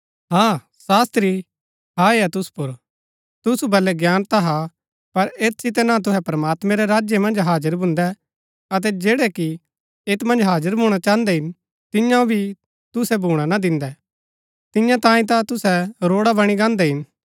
है शास्त्री हाय हा तुसु पुर तुसु बल्लै ज्ञान ता हा पर ऐत सितै ना ता तुहै प्रमात्मां रै राज्य मन्ज हाजर भून्दै अतै जैड़ै कि ऐत मन्ज हाजर भूणा चाहन्दै हिन तिआंओ भी तुसै भूणा ना दिन्दै तियां तांई तां तुसै रोड़ा बणी गांन्‍दै हिन